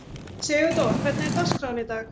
Sigurdór, hvernig er dagskráin í dag?